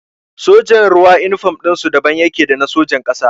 Sojan ruwa inifam ɗinsu daban yake da na sojan ƙasa